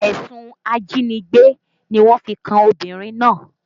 Ẹ̀sùn ajínigbé ni wọ́n fi kan obìnrin náà